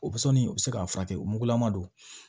O sɔnni u bɛ se k'a furakɛ o mugulama don